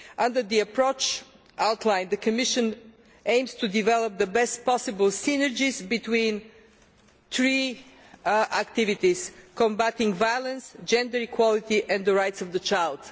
Under the approach outlined, the Commission aims to develop the best possible synergies between three activities combating violence, gender equality and the rights of the child.